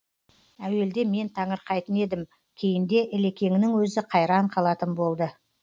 әуелде мен таңырқайтын едім кейінде ілекеңнің өзі қайран қалатын болды